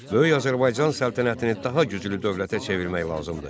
Böyük Azərbaycan səltənətini daha güclü dövlətə çevirmək lazımdır.